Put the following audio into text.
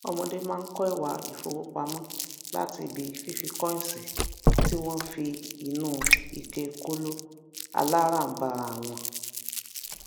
ọmọdé má n ko ìwà ifowopamọ láti ibi fífi koins ti wón fi inú ike kolo alara n bara won